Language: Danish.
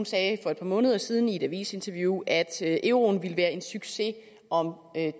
sagde for et par måneder siden i et avisinterview at euroen ville være en succes om